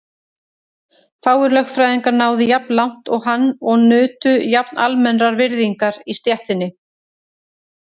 Fáir lögfræðingar náðu jafn langt og hann og nutu jafn almennrar virðingar í stéttinni.